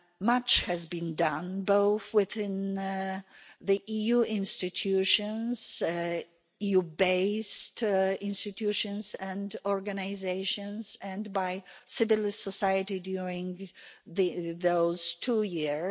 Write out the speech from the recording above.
Much has been done, both within the EU institutions, EU based institutions and organisations, and by civil society during those two years.